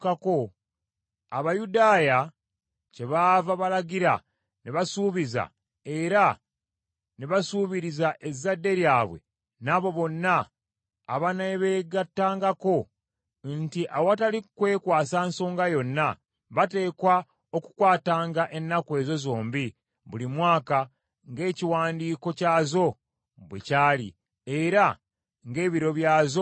Abayudaaya kyebaava balagira ne basuubiza, era ne basuubiriza ezzadde lyabwe n’abo bonna abanaabeegattangako, nti awatali kwekwasa nsonga yonna, bateekwa okukwatanga ennaku ezo zombi buli mwaka ng’ekiwandiiko kyazo bwe kyali era ng’ebiro byazo bwe byali.